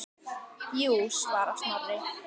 Jú svarar Snorri.